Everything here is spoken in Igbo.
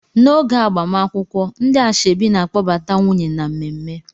N'oge agbamakwụkwọ ndị asoebi na kpọbata nwunye na mmemme